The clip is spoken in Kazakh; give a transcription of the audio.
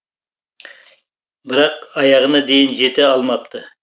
бірақ аяғына дейін жете алмапты